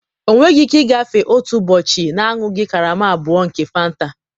ọ nweghị ike ịgafe otu ụbọchị na-aṅụghị karama abụọ nke Fanta